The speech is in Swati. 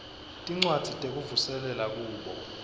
tincwadzi tekuvuselela kubo